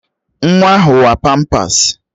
Nwa ahụ wa pampas